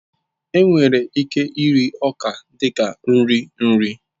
Enwere ike iri ọka dị ka nri nri